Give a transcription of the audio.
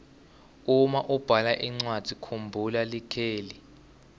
uma ubhala incwadzi kumbhula likheli